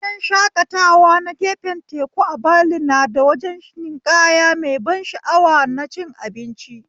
Gidan shakatawa na gefen teku a Bali nada wajen ninƙaya mai ban sha'awa da cin abinci